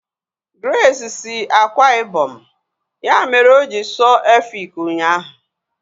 Grace si Akwa Ibom, ya mere oji sụọ Efik ụnyaahụ